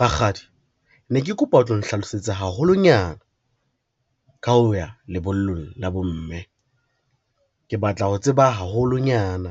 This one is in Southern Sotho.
Rakgadi ne ke kopa o tlo nhlalosetse haholonyana, ka ho ya lebollong la bomme. Ke batla ho tseba haholonyana